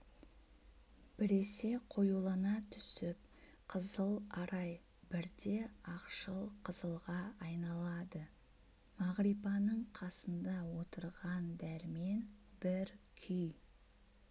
біресе қоюлана түсіп қызыл арай бірде ақшыл қызылға айналады мағрипаның қасында отырған дәрмен бір күй